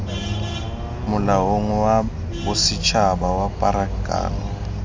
molaong wa bosetshaba wa pharakano